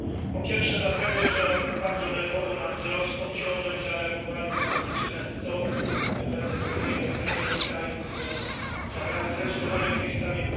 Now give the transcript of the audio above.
Po pierwsze dlatego, że bardzo nerwowo na wzrost obciążeń zareagowali płatnicy netto, nie będę tu wymieniał premierów krajów, które zabrały zdecydowanie głos w tej sprawie.